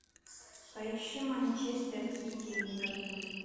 поищи манчестер сити ливерпуль